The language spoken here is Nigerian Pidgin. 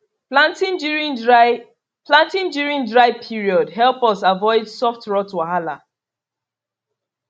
planting during dry planting during dry period help us avoid soft rot wahala